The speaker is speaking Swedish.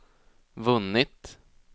vunnit